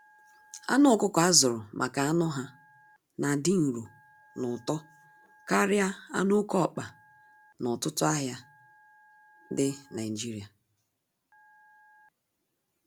Anụ ọkụkọ azụrụ maka anụ ha na adị nro n'ụtọ karịa anụ oke ọkpa na ọtụtụ ahịa dị Naijiria.